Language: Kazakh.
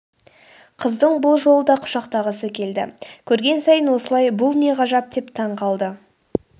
қыздың бұл жолы да құшақтағысы келді көрген сайын осылай бұл не ғажап деп таң қалды